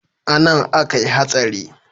Anan akai hatsari?